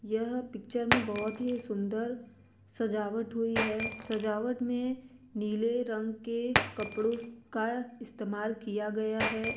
यह पिक्चर में बोहोत ही सुंदर सजावट हुई है। सजावट में नीले रंग के कपड़ो का इस्तेमाल किया गया है।